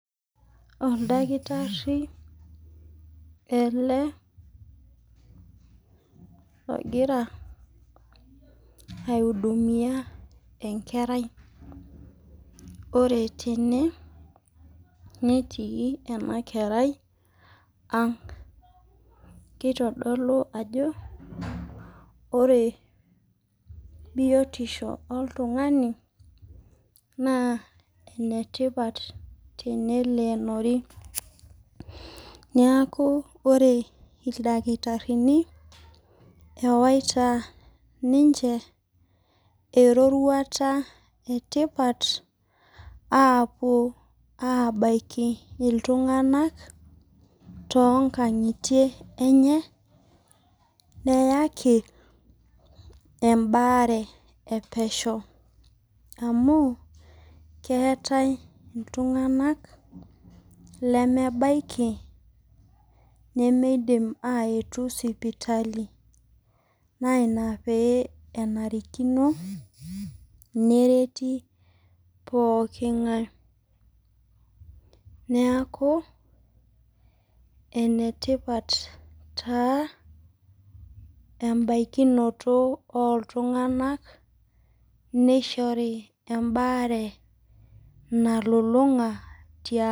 Oldakitari ele logira hudumia enkerai ore tene netii ene kerai ang' keitodolu ajo ore biotisho oltung'ni naa enetipat teneleenori neaku ore idakitarini ewaita ninche eroruata etipata aapuo abaiki iltung'anak toonkang'itie enye neyaki embare e pesho amuu keetae itung'anak lemebaiki nemeidim ayetu sipitali naa ina pee enarikino nereti pooki ng'ae neaku enetipat taa embaikinoto ooltung'anak eishori embaare nalulung'a tiang'